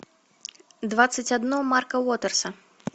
двадцать одно марка уотерса